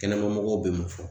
Kɛnɛmamɔgɔw bɛ mun fɔ ?